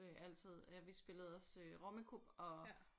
Øh altid øh vi spille også øh Rummikub og